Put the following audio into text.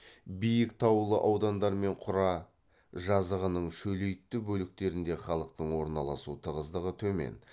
биік таулы аудандар мен құра жазығының шөлейтті бөліктерінде халықтың орналасу тығыздығы төмен